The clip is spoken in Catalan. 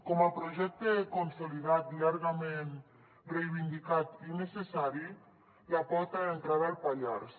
com a projecte consolidat llargament reivindicat i necessari la porta d’entrada al pallars